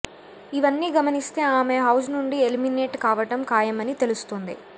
ఇవన్నీ గమనిస్తే ఆమె హౌస్ నుండి ఎలిమినేట్ కావటం ఖాయమని తెలుస్తుంది